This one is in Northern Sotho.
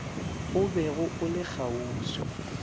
o bego o le kgauswi